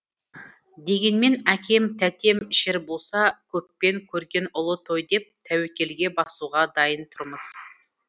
дегенмен әкем тәтем ішер болса көппен көрген ұлы той деп тәуекелге басуға дайын тұрмыз